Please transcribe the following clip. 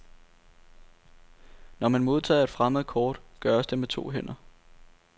Når man modtager et fremmed kort, gøres det med to hænder.